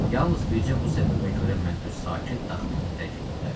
Yalnız bircə bu səbəbə görə mən öz sakit daxmamı tərk eləyə bilərəm.